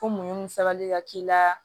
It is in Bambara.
Ko mun sabali ka k'i la